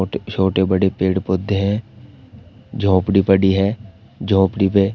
छोटे बड़े पेड़ पौधे हैं। झोपडी बड़ी है झोपडी पे--